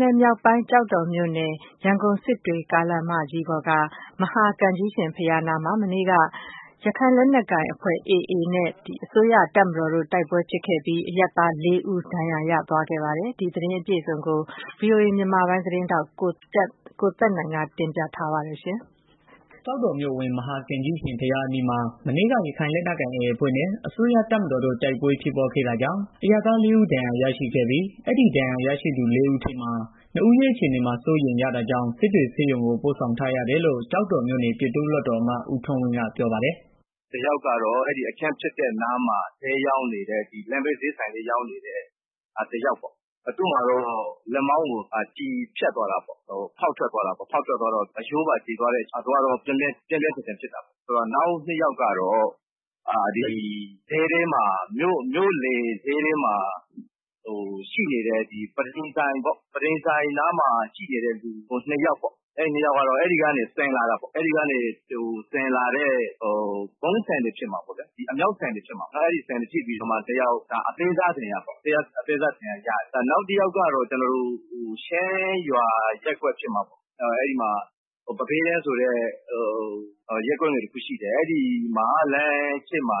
နယ်မြောက်ပိုင်း ကျောက်တော်မြို့နယ် ရန်ကုန်-စစ်တွေ ကားလမ်းမကြီးပေါ်က မဟာကံကြီးရှင် ဘုရားအနီးမှာ မနေ့က ရခိုင်လက်နက်ကိုင် AA အဖွဲ့နဲ့ အစိုးရတပ်မတော်တို့ တိုက်ပွဲဖြစ်ပွားခဲ့တာကြောင့် အရပ်သားလေးဦး ဒဏ်ရာရရှိခဲ့ပါတယ်။ ဒီသတင်းအပြည့်အစုံကို ဗွီအိုအေ မြန်မာပိုင်းသတင်းထောက် ကိုသက်နိုင် တင်ပြထားပါတယ်။ ကျောက်တော်မြို့အဝင် မဟာကံကြီးရှင်ဘုရားအနီးမှာ မနေ့က ရခိုင်လက်နက်ကိုင် AA အဖွဲ့နဲ့ အစိုးရတပ်မတော်တို့ တိုက်ပွဲဖြစ်ပွားခဲ့တာကြောင့် အရပ်သားလေးဦး ဒဏ်ရာရရှိခဲ့ပြီး အဲဒီဒဏ်ရာရရှိသူ လေးဦးထဲက နှစ်ဦးရဲ့ အခြေအနေ စိုးရိမ်ရတာကြောင့် စစ်တွေဆေးရုံကို ပို့ဆောင်ထားရတယ်လို့ ကျောက်တော်မြို့နယ် ပြည်သူ့လွှတ်တော်အမတ် ဦးထွန်းဝင်းက ပြောပါတယ်။ “တယောက်ကတော့ အဲဒီတိုက်ပွဲဖြစ်တဲ့နေရာမှာ လမ်းဘေးဈေးဆိုင်လေး ရောင်းနေတဲ့ တယောက်ပေါ့။ သူ့မှာတော့ လက်မောင်းကို ကျည်ဆန် ဖောက်ထွက်သွားတာ ဖြစ်တာကြောင့် အရိုးပါ ကြေသွားတော့ ပြင်းပြင်းထန်ထန် ဖြစ်တာပေါ့။ နောက်နှစ်ယောက်ကတော့ မြို့လယ် ဈေးထဲမှာရှိတဲ့ ပန်းထိမ်ဆိုင်နားမှာ ရှိနေတဲ့ လူနှစ်ယောက်ပေါ့။ အမြောက်ဆန်တွေ ထိပြီးတော့ အသေးစားဒဏ်ရာရတာ ဖြစ်တယ်။ နောက်တယောက်ကတော့ ချင်းရွာရပ်ကွက် ဖြစ်မှာပေါ့။ ပန်းဖဲတန်းဆိုပြီးတော့ ရပ်ကွက်တခုရှိတယ်။ အဲဒီမှာ လမ်းဘေးမှာ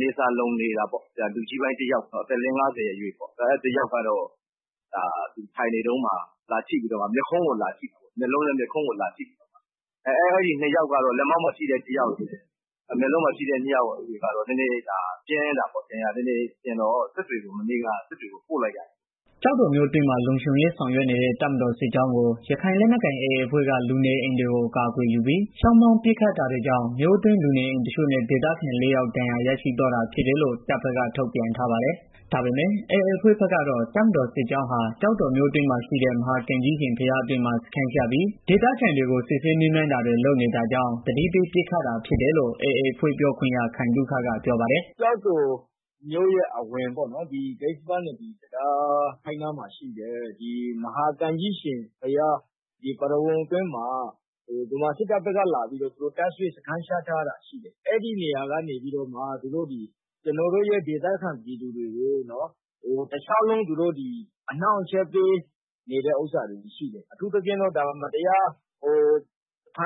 နေဆာလှုံနေတာကို သက်ကြီးပိုင်းတယောက်ရဲ့ မျက်ခုံးကို လာထိတယ်။ အဲဒီ လက်မောင်းကိုထိတဲ့ တယောက်နဲ့ မျက်ခုံးကိုထိတဲ့တယောက် စိုးရိမ်ရတာကြောင့် စစ်တွေဆေးရုံကို ပို့လိုက်ရတယ်။” ကျောက်တော်မြို့အတွင်းမှာ လုံခြုံရေး ဆောင်ရွက်နေတဲ့ တပ်မတော် စစ်ကြောင်းကို ရခိုင်လက်နက်ကိုင် AA အဖွဲ့က လူနေအိမ်တွေကို အကာအကွယ်ယူပြီး ချောင်းမြောင်းပစ်ခတ်ခဲ့တာကြောင့် မြို့အတွင်း လူနေအိမ်တချို့နဲ့ ဒေသခံလေးယောက် ဒဏ်ရာရရှိသွားတာဖြစ်တယ်လို့ တပ်ဘက်က ထုတ်ပြန်ထားပါတယ်။ ဒါပေမယ့် AA အဖွဲ့ဘက်ကတော့ တပ်မတော်စစ်ကြောင်းဟာ ကျောက်တော်မြို့အတွင်းမှာ ရှိတဲ့ မဟာကံကြီးရှင် ဘုရားအတွင်းမှာ စခန်းချပြီး ဒေသခံတွေကို စစ်ဆေးမေးမြန်းတာတွေ လုပ်နေတာကြောင့် သတိပေးခဲ့တာ ဖြစ်တယ်လို့ AA အဖွဲ့ ပြောခွင့်ရ ခိုင်သုခက အခုလို ပြောပါတယ်။ “ကျောက်တော်မြို့ရဲ့အဝင် ကစ္ဆပနဒီ တံတားနားမှာရှိတဲ့ မဟာကံကြီးရှင် ဘုရားအတွင်းမှာ ဗမာစစ်တပ်ဘက်က သူတို့တပ်စွဲ စခန်းချထားတာရှိတယ်။ အဲဒီနေရာကနေပြီးတော့ ကျနော်တို့ရဲ့ ဒေသခံပြည်သူတွေကို တလျှောက်လုံး သူတို့ အနှောင့်အယှက် ပေးနေတာတွေ ရှိတယ်။ အထူးသဖြင့်တော့ မတရား ဖ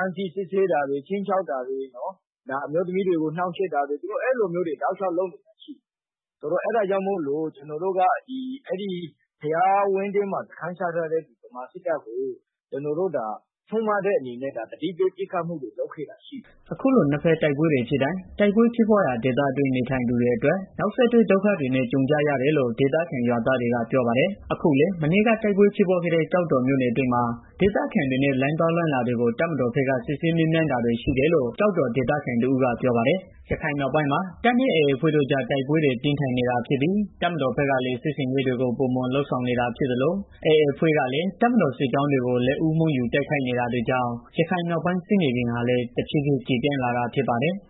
မ်းဆီးစစ်ဆေးတာတွေ၊ ခြိမ်းခြောက်တာတွေ၊ အမျိုးသမီးတွေကို နှောင့်ယှက်တာတွေ သူတို့ အဲလိုမျိုးတွေ လုပ်နေတာရှိတယ်။ အဲဒါကြောင့် အဲဒီဘုရားဝင်းထဲမှာ စခန်းချထားတဲ့ ဗမာစစ်တပ်ကို ကျနော်တို့က ဆုံးမတဲ့အနေနဲ့ သတိပေးပစ်ခတ်မှုတွေ လုပ်ခဲ့တာရှိတယ်။” အခုလို နှစ်ဖက် တိုက်ပွဲတွေဖြစ်တိုင်း တိုက်ပွဲဖြစ်ပွားရာ ဒေသတွင်း နေထိုင်သူတွေအတွက် နောက်ဆက်တွဲ ဒုက္ခတွေနဲ့ ကြုံကြရတယ်လို့ ဒေသခံ ရွာသားတွေက ပြောပါတယ်။ အခုလည်း မနေ့က တိုက်ပွဲဖြစ်ပွားခဲ့တဲ့ ကျောက်တော်မြို့နယ်အတွင်းမှာ ဒေသခံတွေနဲ့ လမ်းသွားလမ်းလာတွေကို တပ်မတော်ဘက်က စစ်ဆေးမေးမြန်းတာတွေ ရှိနေတယ်လို့ ကျောက်တော်ဒေသခံတဦးက ပြောပါတယ်။ ရခိုင်ပြည်နယ်မြောက်ပိုင်းမှာ တပ်နဲ့ AA အဖွဲ့တို့ကြား တိုက်ပွဲတွေဟာ ပြင်းထန်နေတာဖြစ်ပြီး တပ်မတော်ဘက်ကလည်း စစ်ဆင်ရေးတွေကို ပိုမိုလုပ်ဆောင်နေတာ ဖြစ်သလို AA အဖွဲ့ကလည်း တပ်မတော်စစ်ကြောင်းတွေကို လက်ဦးမှုယူ တိုက်ခိုက်နေတာကြောင့် ရခိုင်ပြည်နယ်မြောက်ပိုင်း စစ်မြေပြင်ဟာလည်း ကျယ်ပြန့်လာတာ ဖြစ်ပါတယ်။